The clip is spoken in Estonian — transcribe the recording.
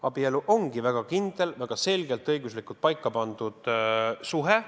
Abielu on väga kindel, väga selgelt õiguslikult paika pandud suhe.